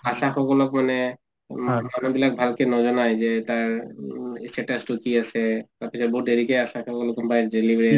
আশা সকলক মানে মানুহবিলাক ভালকে নজনাই যে তাৰ status টো কি আছে তাৰ পিছত বহুত দেৰিকে আশা সকলক